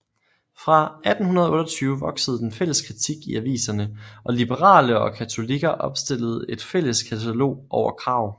Fra 1828 voksede den fælles kritik i aviserne og liberale og katolikker opstillede et fælles katalog over krav